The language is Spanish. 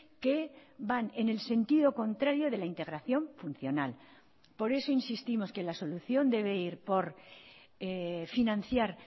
que van en el sentido contrario de la integración funcional por eso insistimos que la solución debe ir por financiar